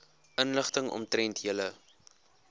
inligting omtrent julle